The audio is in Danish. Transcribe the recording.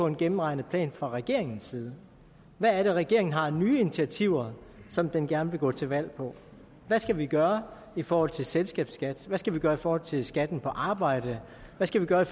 en gennemregnet plan fra regeringens side hvad er det regeringen har af nye initiativer som den gerne vil gå til valg på hvad skal vi gøre i forhold til selskabsskat hvad skal vi gøre i forhold til skatten på arbejde hvad skal vi gøre i